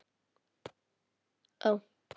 Lága verðið spillir ekki fyrir.